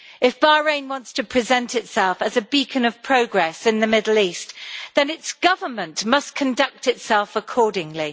If Bahrain wants to present itself as a beacon of progress in the Middle East, then its Government must conduct itself accordingly.